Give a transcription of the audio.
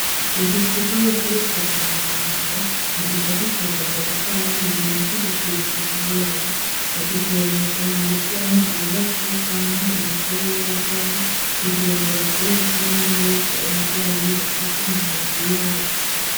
Uducupa bakoresha kwa muganga mu gisata ca raboratware mugihe co gupima indwara, badukoresha mu gushiramwo amaraso canke imikoyo y'abagwayi, kugira ngo bashobore kubona neza uburwayi bafise mu mibiri yabo.